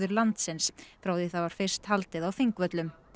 landsins frá því það var fyrst haldið á Þingvöllum